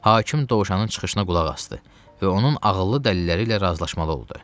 Hakim Dovşanın çıxışına qulaq asdı və onun ağıllı dəlilləri ilə razılaşmalı oldu.